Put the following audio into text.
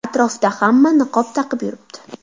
Atrofda hamma niqob taqib yuribdi.